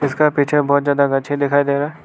उसके पीछे बहुत ज्यादा गछ्छे दिखाई दे रहा।